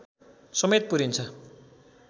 समेत पुरिन्छ